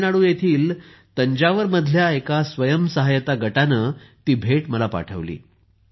तमिळनाडू येथील तंजावर मधल्या एका स्वयंसहायता गटाने ती भेट मला पाठवली आहे